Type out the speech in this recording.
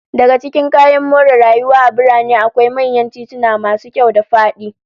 Daga cikin kayan more rayuwa a birane, akwai manyan tituna masu kyau da fadi